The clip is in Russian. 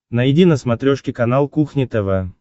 найди на смотрешке канал кухня тв